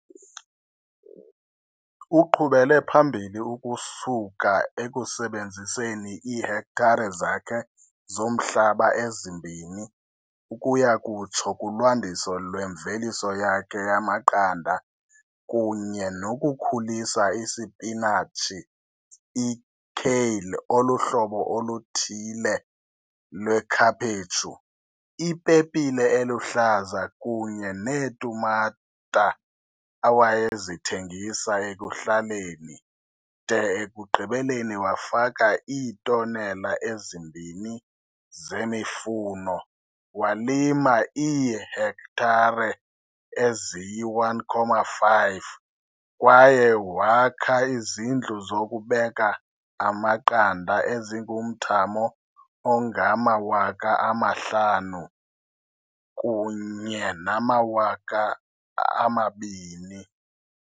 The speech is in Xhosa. Uqhubele phambili ukusuka ekusebenziseni iihektare zakhe zomhlaba ezimbini ukuyakutsho kulwandiso lwemveliso yakhe yamaqanda kunye nokukhulisa isipinatshi, ikale oluhlobo oluthile lwekhaphetshu, ipepile eluhlaza kunye neetumata, awayezithengisa ekuhlaleni, de ekugqibeleni wafaka iitonela ezimbini zemifuno, walima iihektare eziyi-1.5 kwaye wakha izindlu zokubeka amaqanda ezingumthamo ongama-5 000 kunye nama-2 000.